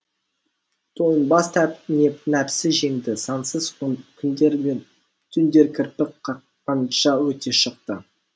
тойынбас нәпсі жеңді сансыз күндер мен түндер кірпік қаққанша өте шықты